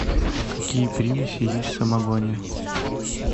какие примеси есть в самогоне